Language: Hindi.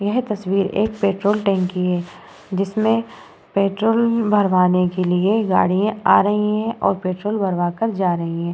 येहे तस्वीर एक पेट्रोल टैंक की है। जिसमे पेट्रोल भरवाने के लिए गाड़ियां आ रही हैं और पेट्रोल